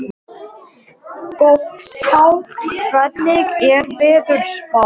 Gottskálk, hvernig er veðurspáin?